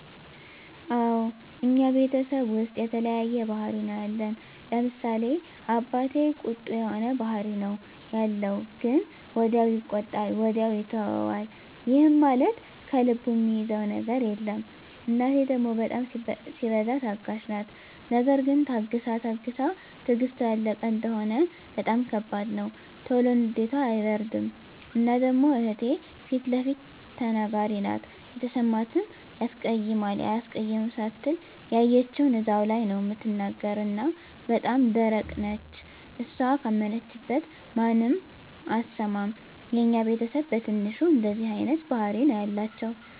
አወ እኛ ቤተሰብ ዉስጥ የተለያየ ባህሪ ነዉ ያለን፤ ለምሳሌ፦ አባቴ ቁጡ የሆነ ባህሪ ነዉ ያለዉ ግን ወዲያዉ ይቆጣል ወዲያዉ ይተወዋል ይህም ማለት ከልቡ እሚይዘዉ ነገር የለም፣ እናቴ ደሞ በጣም ሲበዛ ታጋሽ ናት ነገር ግን ታግሳ ታግሳ ትግስቷ ያለቀ እንደሆነ በጣም ከባድ ነዉ። ቶሎ ንዴቷ አይበርድም እና ደሞ እህቴ ፊለፊት ተናጋሪ ናት የተሰማትን ያስቀይማል አያስቀይምም ሳትል ያየችዉን እዛዉ ላይ ነዉ እምትናገር እና በጣም ደረቅ ነች እሷ ካመነችበት ማንንም አትሰማም። የኛ ቤተስብ በትንሹ እንደዚህ አይነት ባህሪ ነዉ ያላቸዉ።